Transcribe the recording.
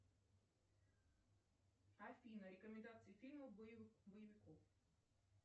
афина рекомендации фильмов боевиков